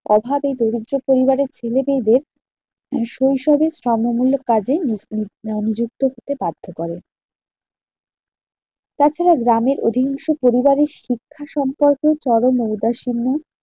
অভাবে দরিদ্র পরিবারের ছেলেমেয়েদের শৈশবের স্রাম্যমূল্য কাজে আহ নিযুক্ত হতে বাধ্য করে। তাছাড়া গ্রামের অধিনস্স পরিবারের শিক্ষা সম্পর্কে চরম ঔদাসীন্য